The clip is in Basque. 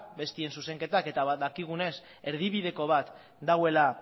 besteen zuzenketak eta badakigunez erdibideko bat dagoela